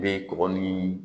Bɛ kɔgɔ ni